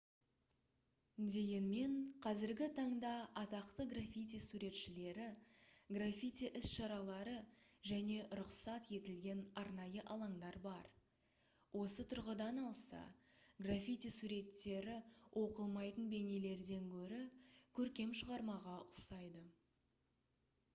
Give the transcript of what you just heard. дегенмен қазіргі таңда атақты граффити суретшілері граффити іс-шаралары және рұқсат етілген арнайы алаңдар бар осы тұрғыдан алса граффити суреттері оқылмайтын бейнелерден гөрі көркем шығармаға ұқсайды